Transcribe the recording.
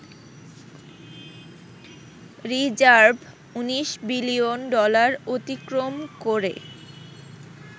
Reserve ১৯ billion dollar অতিক্রম করে।